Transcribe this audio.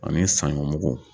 Ani sanɲɔmugu